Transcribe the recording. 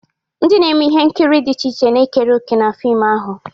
Ndị na-eme ihe nkiri dị iche iche na-ekere òkè na fim ahụ.